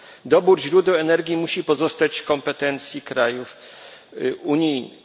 Dobór źródeł energii musi pozostać w kompetencji krajów unijnych.